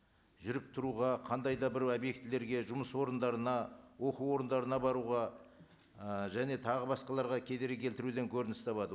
жүріп тұруға қандай да бір объектілерге жұмыс орындарына оқу орындарына баруға ы және тағы басқаларға кедергі келтіруден көрініс табады